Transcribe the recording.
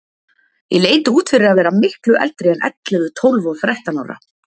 Ég leit út fyrir að vera miklu eldri en ellefu, tólf og þrettán ára.